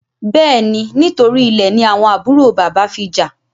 Béèni, nítorí Ilè ní àwọn àbúrò bàbá fí já.